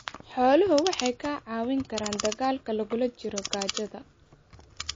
Xooluhu waxay kaa caawin karaan dagaalka lagula jiro gaajada.